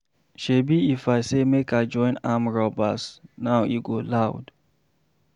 Shebi if I say make I join armed robbers now e go loud.